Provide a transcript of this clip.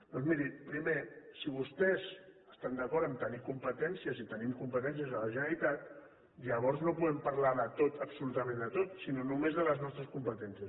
doncs miri primer si vostès estan d’acord a tenir competències i tenim competències a la generalitat llavors no podem parlar de tot absolutament de tot sinó només de les nostres competències